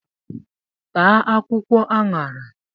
Taa akwụkwọ añara